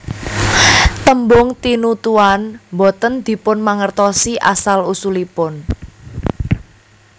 Tembung tinutuan boten dipunmangertosi asal usulipun